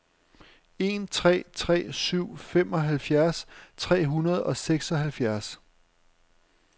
en tre tre syv femoghalvfjerds tre hundrede og seksoghalvfjerds